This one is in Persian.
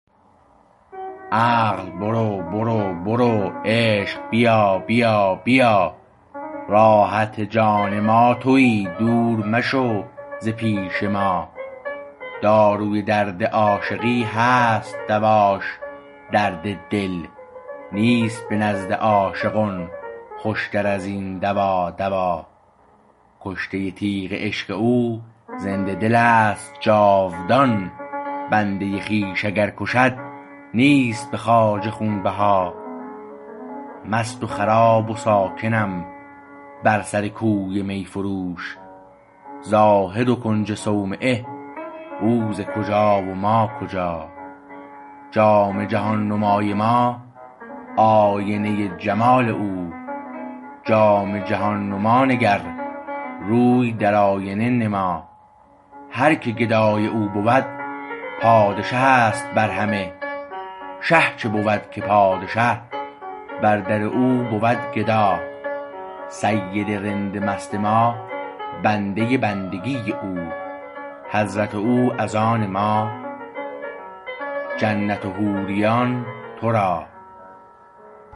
عقل برو برو برو عشق بیا بیا بیا راحت جان ما تویی دور مشو ز پیش ما داروی درد عاشقی هست دواش درد دل نیست به نزد عاشقان خوشتر ازین دوا دوا کشته تیغ عشق او زنده دلست جاودان بنده خویش اگر کشد نیست به خواجه خونبها مست و خراب و ساکنم برسرکوی میفروش زاهد و کنج صومعه او ز کجا و ما کجا جام جهان نمای ما آینه جمال او جام جهان نما نگر روی در آینه نما هر که گدای او بود پادشهست بر همه شه چه بود که پادشه بر در او بود گدا سید رند مست ما بنده بندگی او حضرت او از آن ما جنت و حوریان تو را